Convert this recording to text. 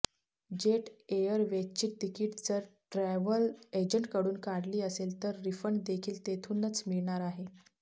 jet एअरवेजची तिकीट जर ट्रॅव्हल एजंट कडून काढली असेल तर रिफंड देखील तेथूनच मिळणार आहे